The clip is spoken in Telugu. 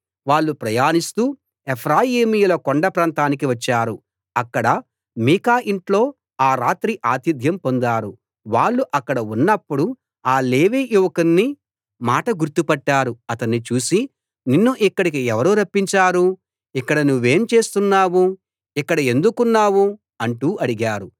వాళ్ళు ప్రయాణిస్తూ ఎఫ్రాయిమీయుల కొండ ప్రాంతానికి వచ్చారు అక్కడ మీకా ఇంట్లో ఆ రాత్రి ఆతిథ్యం పొందారు వాళ్ళు అక్కడ ఉన్నప్పుడు ఆ లేవీ యువకుని మాట గుర్తు పట్టారు అతణ్ణి చూసి నిన్ను ఇక్కడికి ఎవరు రప్పించారు ఇక్కడ నువ్వేం చేస్తున్నావు ఇక్కడ ఎందుకున్నావు అంటూ అడిగారు